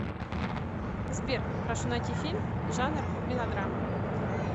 сбер прошу найти фильм жанр мелодрама